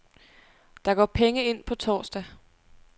Der går penge ind på torsdag.